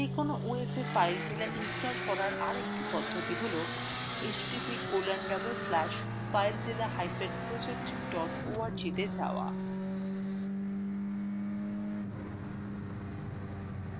যেকোন os এ filezilla install করার আরেকটি পদ্ধতি হল